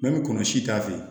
kɔnɔ si t'a fɛ